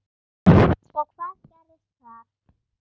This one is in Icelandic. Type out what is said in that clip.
Og hvað gerðist þar?